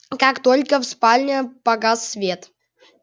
как только в спальне погас свет